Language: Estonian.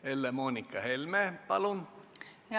Helle-Moonika Helme, palun!